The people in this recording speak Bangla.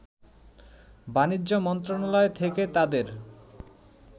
বাণিজ্য মন্ত্রণালয় থেকে তাদের